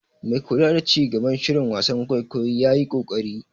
Mai kula da ci gaban shirin wasan kwaikwayo ya yi ƙoƙari.